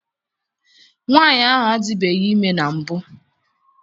Nwaanyị ahụ adibeghi ime na mbụ.